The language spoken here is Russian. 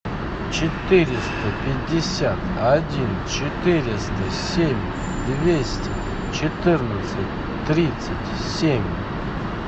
четыреста пятьдесят один четыреста семь двести четырнадцать тридцать семь